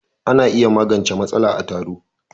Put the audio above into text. Ana iya magance matsala a taro.